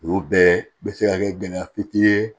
O bɛɛ bɛ se ka kɛ gɛlɛya fiti ye